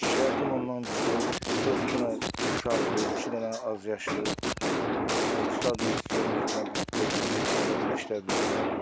Şərtim onandır ki, dörd dənə uşaqdır, iki dənə azyaşlı, o birisilər də hələ yeni yetməli olmayan, hələ məktəblidirlər.